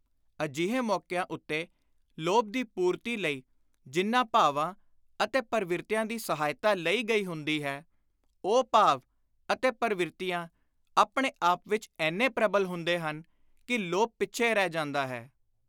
ਅਜਿਹੇ ਮੌਕਿਆਂ ਉੱਤੇ ਲੋਭ ਦੀ ਪੁਰਤੀ ਲਈ ਜਿਨ੍ਹਾਂ ਭਾਵਾਂ ਅਤੇ ਪਰਵਿਰਤੀਆਂ ਦੀ ਸਹਾਇਤਾ ਲਈ ਗਈ ਹੁੰਦੀ ਹੈ, ਉਹ ਭਾਵ ਅਤੇ ਪਰਵਿਰਤੀਆਂ ਆਪਣੇ ਆਪ ਵਿਚ ਏਨੇ ਪ੍ਰਬਲ ਹੁੰਦੇ ਹਨ ਕਿ ਲੋਭ ਪਿੱਛੇ ਰਹਿ ਜਾਂਦਾ ਹੈ।